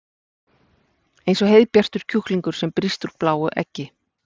Eins og heiðbjartur kjúklingur sem brýst úr bláu eggi.